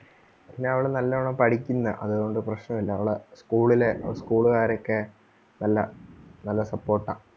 പിന്നെ അവള് നല്ലോണം പഠിക്കുന്നെയാ അതോണ്ട് പ്രശനം ഇല്ല അവളെ school ലെ school കാരൊക്കെ നല്ല നല്ല support ആ